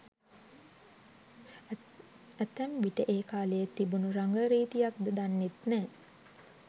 ඇතැම් විට ඒ කාලයේ තිබුන රංග රීතියක්ද දන්නෙත් නෑ.